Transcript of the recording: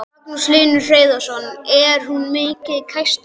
Magnús Hlynur Hreiðarsson: Er hún mikið kæst eða?